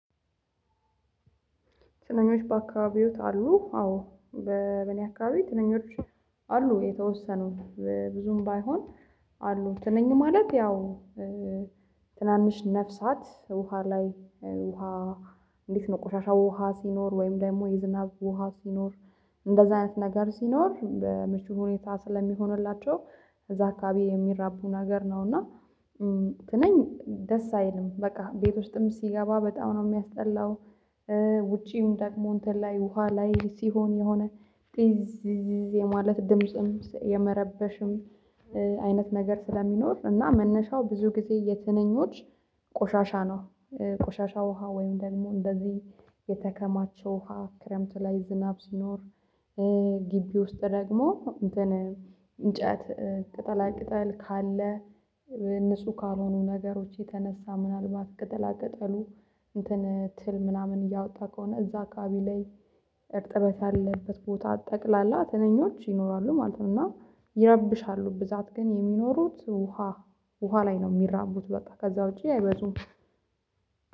ትንኞች በአካባቢወ አሉ አዎ በ በኔ አካባቢ ትንኞች አሉ። የተወሰኑ ብዙም ባይሆን አሉ ትንኝ ማለት ያው ትናንሽ ነፍሳት ውሃ ላይ ውሃ እንዴት ነው? ቆሻሻ ውሃ ሲኖር ወይም ደግሞ የዝናብ ውሃ ሲኖር እንደዚህ አይነት ነገር ሲኖር በምቹ ሁኔታ ስለሚሆንላቸው እዛ አካባቢ የሚራቡ ነገር ነው። እና እንኝ ደስ አይልም በቃ ቤት ውስጥም ሲገባ በጣም ነው የሚያስጠላው። ውጪም ደግሞ እንትን ላይ ውሃ ላይ ሲሆን የሆነ ጥዝ የማለት ድምጽም የመረበሽም አይነት ነገር ስለሚኖር እና መነሻው ብዙ ጊዜ የትንኞች ቆሻሻ ነው። ቆሻሻ ውሃ ወይም ደግሞ እንደዚህ የተከማቸው ውሃ ክረምት ላይ ዝናብ ሲኖር። ግቢ ውስጥ ደግሞ እንጨት ቅጠላ ቅጠል ካለ። ንጹህ ካልሆኑ ነገሮች የተነሳ ምናልባት ቅጠላ ቅጠሉ እንትን ትል ምናምን እያወጣ ከሆነ እዛ አካባቢ ላይ እርጥበት ያለበት ቦታ ጠቅላላ ትንኞች ይኖራሉ ማለት ነው። እና ይረብሻሉ ብዛት ግን የሚኖሩት ውሃ ውሃ ላይ ነው የሚራቡት በቃ ከዛ ውጪ አይበዙም።